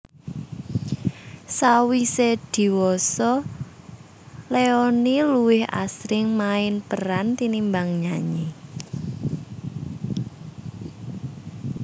Sawisé diwasa Leony luwih asring main peran tinimbang nyanyi